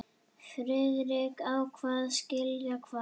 Friðrik hváði: Skilja hvað?